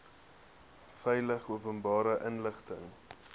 veilig openbare inligting